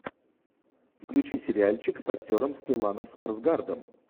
включи сериальчик с актером стелланом скарсгардом